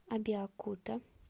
абеокута